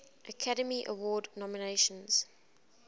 academy award nominations